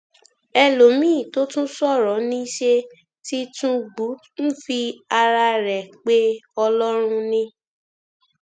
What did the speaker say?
ẹlòmíín tó tún sọrọ ní ṣe tìtúngbù ń fi ara rẹ pe ọlọrun ni